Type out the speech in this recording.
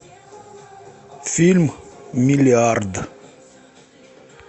фильм миллиард